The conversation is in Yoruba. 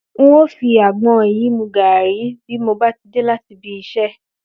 N óò fi àgbo̩n yìí mu gààrí bí mo bá dé láti ibi is̩é̩